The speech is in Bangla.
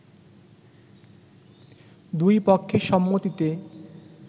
দুই পক্ষের সম্মতিতে